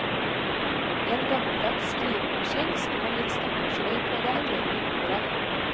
En gammeldags skrivemaskin står litt stakkarslig på det enorme bordet.